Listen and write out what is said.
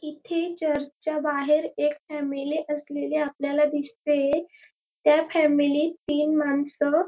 इथे चर्च च्या बाहेर एक फॅमिली असलेली आपल्याला दिसतेय त्या फॅमिली त तीन मानस--